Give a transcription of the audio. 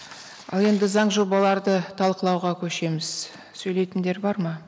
ал енді заң жобаларды талқылауға көшеміз сөйлейтіндер бар ма